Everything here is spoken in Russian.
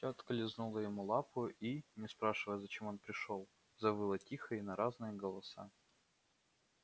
тётка лизнула ему лапу и не спрашивая зачем он пришёл завыла тихо и на разные голоса